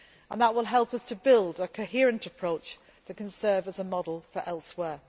That will help us to build a coherent approach that can serve as a model for elsewhere.